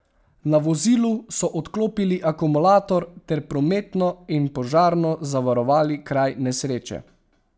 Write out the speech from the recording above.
Na vozilu so odklopili akumulator ter prometno in požarno zavarovali kraj nesreče.